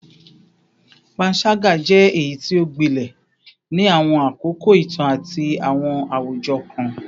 Panṣaga jẹ eyiti o gbilẹ ni awọn akoko itan ati awọn awujọ kan